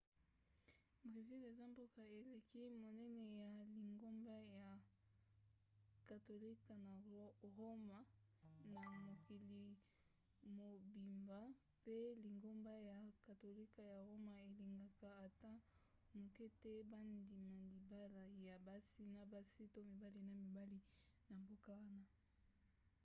brésil eza mboka eleki monene ya lingomba ya katolika na roma na mokili mobimba mpe lingomba ya katolika ya roma elingaka ata moke te bandima libala ya basi na basi to mibali na mibali na mboka wana